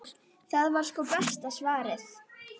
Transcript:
Það var sko besta svarið.